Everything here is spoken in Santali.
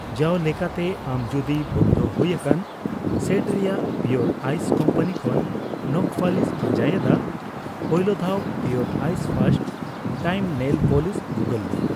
ᱡᱟᱣᱞᱮᱠᱟᱛᱮ, ᱟᱢ ᱡᱩᱫᱤ ᱵᱚᱱᱫᱷᱚ ᱦᱩᱭ ᱟᱠᱟᱱ ᱥᱮᱰ ᱨᱮᱭᱟᱜ ᱯᱤᱣᱚᱨ ᱟᱭᱤᱥ ᱠᱳᱢᱯᱟᱱᱤ ᱠᱷᱚᱱ ᱱᱚᱠᱷ ᱯᱟᱹᱞᱤᱥ ᱯᱟᱸᱡᱟᱭ ᱮᱫᱟ, ᱯᱳᱭᱞᱳᱫᱷᱟᱣ ᱯᱤᱣᱚᱨ ᱟᱭᱤᱥ ᱯᱷᱟᱨᱥᱴ ᱴᱟᱭᱤᱢ ᱱᱮᱞ ᱯᱚᱞᱤᱥ ᱜᱩᱜᱚᱞ ᱢᱮ ᱾